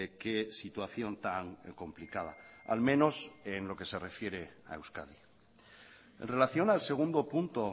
qué situación tan complicada al menos en lo que se refiere a euskadi en relación al segundo punto